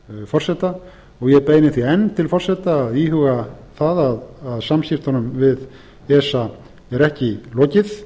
forseta og ég beini því enn til forseta að íhuga það að samskiptunum við esa er ekki lokið